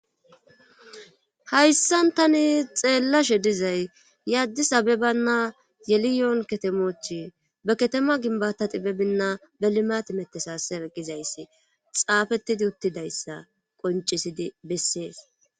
Hayssan tani xeellashe dizay yaddi sabebanna yeliyoon katemochi ba katema ginbata xibebinna belimatimetesasereqqizayssi xaafettidi uttidayssa qoncisidi bessees.